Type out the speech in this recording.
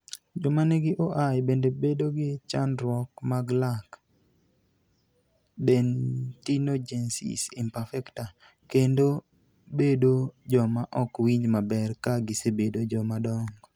Joma nigi OI bende bedo gi chandruok mag lak (dentinogenesis imperfecta) kendo bedo joma ok winj maber ka gisebedo joma dongo.